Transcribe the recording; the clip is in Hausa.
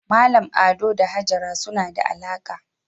Mallam Ado da Hajara suna da alaka